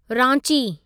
Ranchi